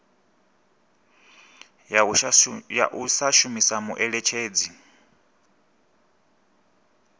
ya u sa shumisa muṋetshedzi